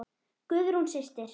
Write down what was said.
Guðrún systir.